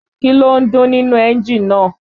Kí ló ń dún nínú ẹ́ńjì náà